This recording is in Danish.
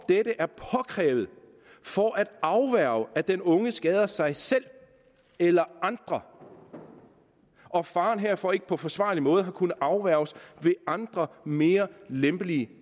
dette er påkrævet for at afværge at den unge skader sig selv eller andre og faren herfor ikke på forsvarlig måde har kunnet afværges ved andre mere lempelige